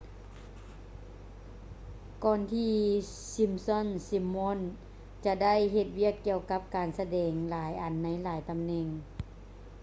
ກ່ອນທີ່ simpsons simon ຈະໄດ້ເຮັດວຽກກ່ຽວກັບການສະແດງຫຼາຍອັນໃນຫລາຍຕຳແໜ່ງ